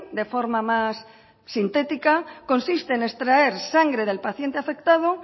de forma mas sintética consiste en extraer sangre del paciente afectado